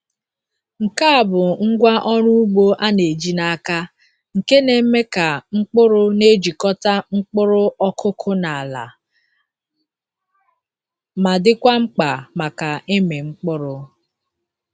Nke a bụ ngwá ọrụ ugbo a na-eji n’aka nke na-eme ka mkpụrụ na-ejikọta mkpụrụ ọkụkụ na ala, ma dịkwa mkpa maka ịmị mkpụrụ.